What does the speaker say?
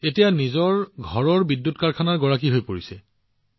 এতিয়া তেওঁলোক নিজেই তেওঁলোকৰ নিজৰ ঘৰৰ বিদ্যুৎ উৎপাদনৰ গৰাকী হৈ পৰিছে